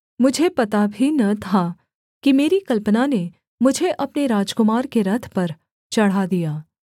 मुझे पता भी न था कि मेरी कल्पना ने मुझे अपने राजकुमार के रथ पर चढ़ा दिया